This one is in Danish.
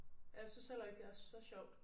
Ja jeg synes heller ikke det er så sjovt